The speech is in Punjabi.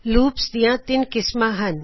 ਲੂਪਸ ਦਿਆ ਤਿਨ ਕਿਸਮਾ ਹਨ